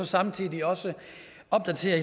samtidig også opdaterer